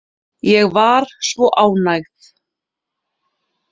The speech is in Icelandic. Ég var svo ánægð.